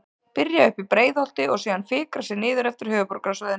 Byrja uppi í Breiðholti og síðan fikra sig niður eftir höfuðborgarsvæðinu.